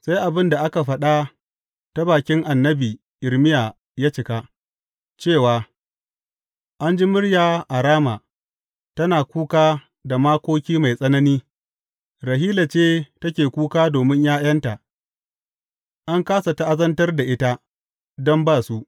Sai abin da aka faɗa ta bakin annabi Irmiya ya cika, cewa, An ji murya a Rama, tana kuka da makoki mai tsanani, Rahila ce take kuka domin ’ya’yanta, an kāsa ta’azantar da ita, don ba su.